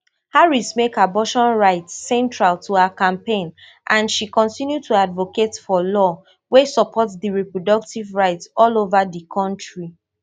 harrismake abortion rights central to her campaign and she continue to advocate for law wey support di reproductive rights all over di kontri